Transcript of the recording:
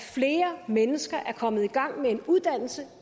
flere mennesker er kommet i gang med en uddannelse